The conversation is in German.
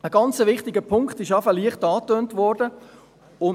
Ein ganz wichtiger Punkt wurde bereits leicht angetönt.